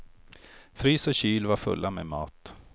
Frys och kyl var fulla med mat.